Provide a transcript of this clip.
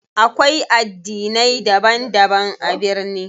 Akwai addinai daban daban a birni.